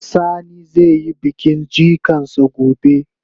Sani zai yi bikin jikan sa gobe.